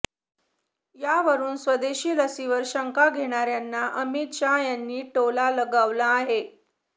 यावरुन स्वदेशी लसीवर शंका घेण्याऱ्यांना अमित शाह यांनी टोला लगावला आहे